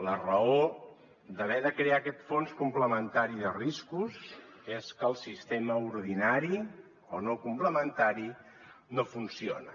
la raó d’haver de crear aquest fons complementari de riscos és que el sistema ordinari o no complementari no funciona